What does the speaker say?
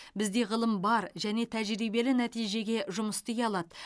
бізде ғылым бар және тәжірибелі нәтижеге жұмыс істей алады